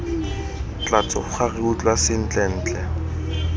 tla tsoga re utlwa sentlentle